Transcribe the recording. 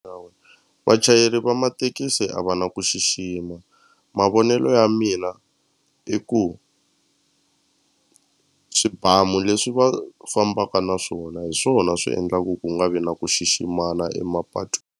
vachayeri va mathekisi a va na ku xixima mavonelo ya mina i ku swibamu leswi va fambaka na swona hi swona swi endlaku ku nga vi na ku xiximana .